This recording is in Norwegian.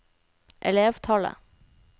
elevtallet